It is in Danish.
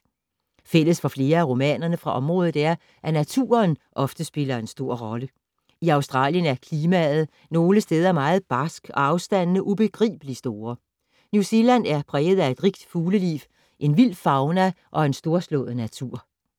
Fælles for flere af romanerne fra området er, at naturen ofte spiller en stor rolle. I Australien er klimaet nogle steder meget barskt og afstandene ubegribelige store. New Zealand er præget af et rigt fugleliv, en vild fauna og en storslået natur.